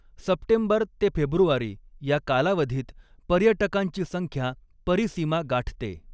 September ते फेब्रुवारी या कालावधीत पर्यटकांची संख्या परीसीमा गाठते.